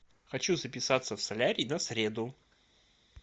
хочу записаться в солярий на среду